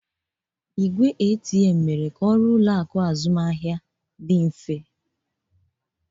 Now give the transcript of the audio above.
Igwe ATM mere ka ọrụ ụlọ akụ azụmaahịa dị mfe